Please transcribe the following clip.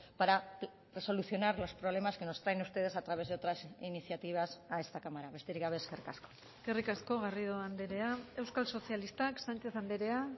para solucionar los problemas que nos traen ustedes a través de otras iniciativas a esta cámara besterik gabe eskerrik asko eskerrik asko garrido andrea euskal sozialistak sánchez andrea